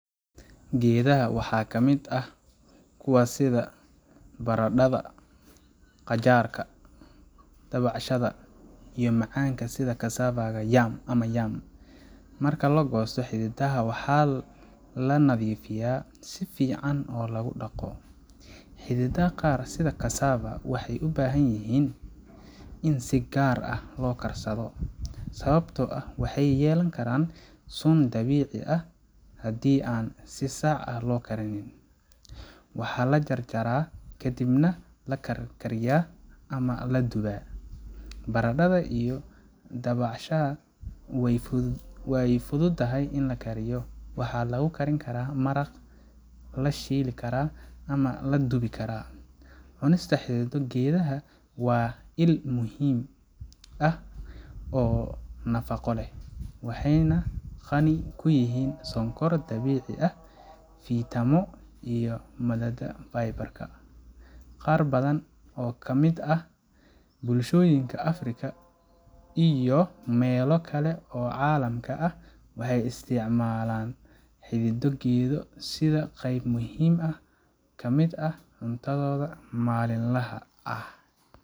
Geedaha waxaa ka mid ah kuwa sida baradhada, qajaaarka, dabacasaha, iyo macaanka sida cassava ama yam. Marka la goosto xididdada, waxaa la nadiifiyaa si fiican oo lagu dhaqo, kadibna waxaa lagu karin karaa siyaabo kala duwan. Xididdada qaar sida cassava waxay u baahan yihiin in si gaar ah loo karsado sababtoo ah waxay yeelan karaan sun dabiici ah haddii aan si sax ah loo karin. Waxaa la jarjaraa kadibna la karkariyaa ama la dubaa. Baradhada iyo dabacasaha way fududahay in la kariyo waxaa lagu karin karaa maraq, la shiili karaa, ama la dubi karaa. Cunista xididdo geedaha waa il muhiim ah oo nafaqo leh, waxayna qani ku yihiin sonkor dabiici ah, fiitamiino iyo maadada fiber ka. Qaar badan oo ka mid ah bulshooyinka Afrika iyo meelo kale oo caalamka ah waxay isticmaalaan xididdo geedo sida qeyb muhiim ah oo ka mid ah cuntadooda maalinlaha ah.